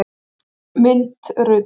Mynd Rut.